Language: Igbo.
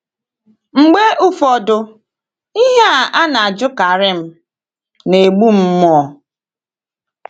Mgbe ụfọdụ, ihe a a na - ajụkarị m na - egbu m mmụọ.